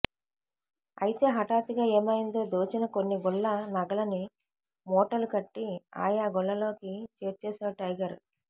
అయితే హఠాత్తుగా ఏమైందో దోచిన కొన్ని గుళ్ల నగలని మూటలు కట్టి ఆయా గుళ్లల్లోకి చేర్చేశాడు టైగర్